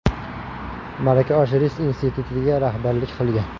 Malaka oshirish institutiga rahbarlik qilgan.